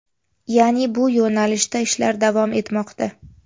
Ya’ni bu yo‘nalishda ishlar davom etmoqda.